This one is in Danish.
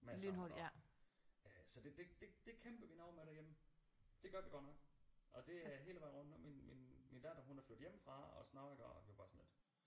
Men altså og øh så det det det kæmper vi noget med derhjemme det gør vi godt nok og det er hele vejen rundt og min min min datter hun er flyttet hjemmefra og sådan noget iggå og det er bare sådan lidt